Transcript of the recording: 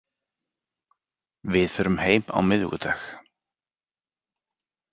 Við förum heim á miðvikudag.